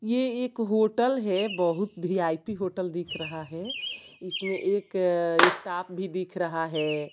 ये एक होटल है बहुत वी_आई_पी होटल दिख रहा है इसमें एक स्टॉप भी दिख रहा है।